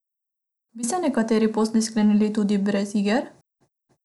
Bi se nekateri posli sklenili tudi brez iger?